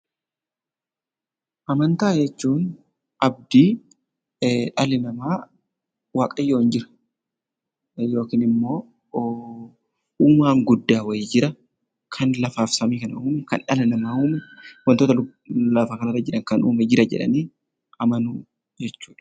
Amantaa jechuun abdii dhalli namaa, Waaqayyoon jira, yookiin immoo uumaan guddaa wayii jira, kan lafaaf samii kana uume, kan dhala namaa uume, wantoota lafa kanarra jiran kan uume jira jedhanii amanuu jechuu dha.